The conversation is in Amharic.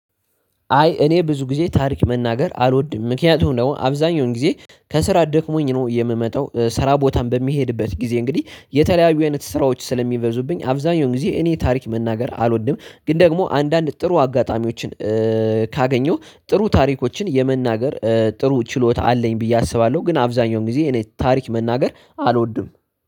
አይ እኔ ብዙ ጊዜ ታሪክ መናገር አልወድም ምክንያቱም ደግሞ አብዛኛውን ጊዜ ከስራ ደክሞኝ ነው የምመጣው ስራ ቦታም በሚሄድበት ጊዜ እንግዲህ የተለያዩ አይነት ስራዎች ስለሚበዙብኝ አብዛኛው ጊዜ እኔ ታሪክ መናገር አልወድም። ግን ደግሞ አንዳንድ ጥሩ አጋጣሚዎችን። ካገኘው ጥሩ ታሪኮችን የመናገር ጥሩ ችሎታ አለኝ ብዬ አስባለሁ። ግን አብዛኛውን ጊዜ እኔ ታሪክ መናገር አልወድም።